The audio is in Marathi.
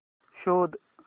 शोध